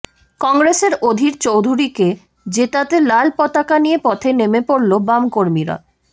কংগ্রেসের অধীর চোধুরীকে জেতাতে লাল পতাকা নিয়ে পথে নেমে পড়ল বাম কর্মীরা